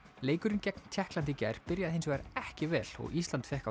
leikurinn gegn Tékklandi í gær byrjaði hins vegar ekki vel og Ísland fékk